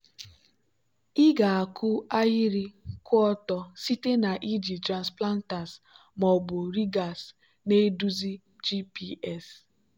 ị ga-akụ ahịrị kwụ ọtọ site na iji transplanters ma ọ bụ rigers na-eduzi gps.